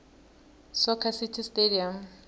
soccer city stadium